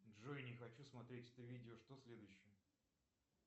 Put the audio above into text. джой не хочу смотреть это видео что следующее